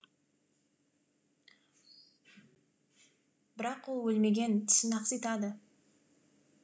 бірақ ол өлмеген тісін ақситады